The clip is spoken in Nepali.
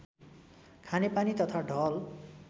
खानेपानी तथा ढल